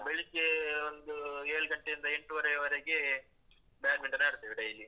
ನಾವು ಬೆಳಿಗ್ಗೆ ಒಂದೂ ಏಳ್ ಗಂಟೆಯಿಂದ ಎಂಟುವರೆ ವರೆಗೆ badminton ಆಡ್ತೇವೆ daily .